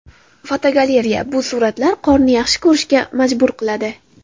Fotogalereya: Bu suratlar qorni yaxshi ko‘rishga majbur qiladi!.